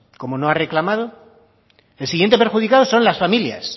como no ha reclamado el siguiente perjudicado son las familias